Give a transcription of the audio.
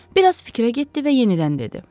Bir az fikrə getdi və yenidən dedi.